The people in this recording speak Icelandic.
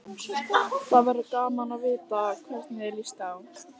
Það verður gaman að vita hvernig þér líst á.